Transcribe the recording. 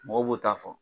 Mɔgɔw b'o ta fɔ